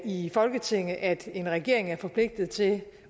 i folketinget at en regering er forpligtet til